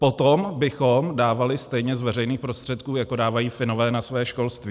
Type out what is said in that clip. Potom bychom dávali stejně z veřejných prostředků, jako dávají Finové na svoje školství.